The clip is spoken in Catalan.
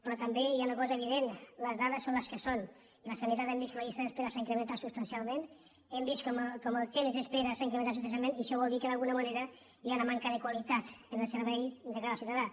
però també hi ha una cosa evident les dades són les que són i la sanitat hem vist que la llista d’espera s’ha incrementat substancial·ment hem vist com el temps d’espera s’ha incrementat substancialment i això vol dir que d’alguna manera hi ha una manca de qualitat en el servei de cara al ciu·tadà